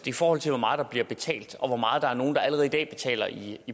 i forhold til hvor meget der bliver betalt og hvor meget der er nogle der allerede i dag betaler i